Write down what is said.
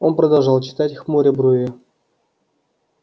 он продолжал читать хмуря брови